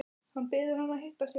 Hann biður hana að hitta sig.